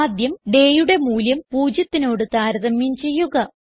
ആദ്യം ഡേ യുടെ മൂല്യം 0ത്തിനോട് താരതമ്യം ചെയ്യുക